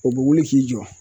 O be wuli k'i jɔ